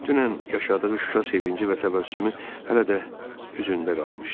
Dünən yaşadığı Şuşa sevinci və təbəssümü hələ də üzündə qalmışdı.